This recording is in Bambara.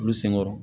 Olu senkɔrɔ